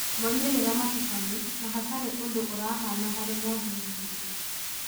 moimĩrĩra matukanu, na hatarĩ ũndũ ũrahana harĩ mothuthuria.